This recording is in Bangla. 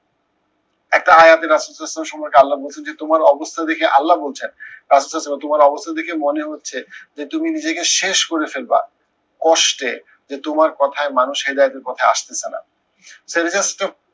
একটা আয়াতে কে আল্লাহ বলছেন যে তোমার অবস্থা দেখে আল্লাহ বলছেন তোমার অবস্থা দেখে মনে হচ্ছে, যে তুমি নিজেকে শেষ করে ফেলবা। কষ্টে, যে তোমার কথায় মানুষ হেদায়েদের পথে আসতেছে না।